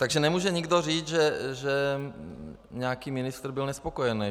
Takže nemůže nikdo říct, že nějaký ministr byl nespokojený.